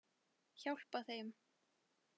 Hjálpa þeim.